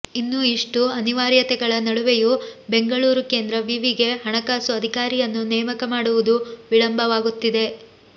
ಇನ್ನು ಇಷ್ಟು ಅನಿವಾರ್ಯತೆಗಳ ನಡುವೆಯೂ ಬೆಂಗಳೂರು ಕೇಂದ್ರ ವಿವಿಗೆ ಹಣಕಾಸು ಅಧಿಕಾರಿಯನ್ನು ನೇಮಕ ಮಾಡುವುದು ವಿಳಂಬವಾಗುತ್ತಿದೆ